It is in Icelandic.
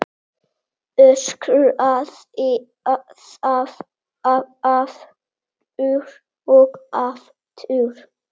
Öskraði það aftur og aftur.